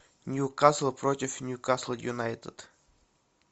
ньюкасл против ньюкасл юнайтед